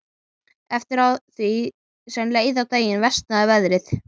Eftir því sem leið á daginn versnaði veðrið.